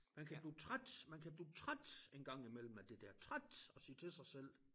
Man kan blive træt man kan blive træt en gang imellem af det der træt og sige til sig selv